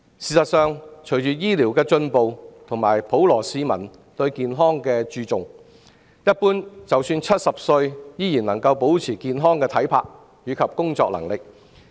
事實上，隨着醫療進步及普羅市民日益注重健康，一般人即使到了70歲，依然能保持健康體魄及工作能力。